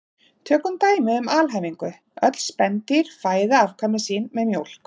Tökum dæmi um alhæfingu: Öll spendýr fæða afkvæmi sín með mjólk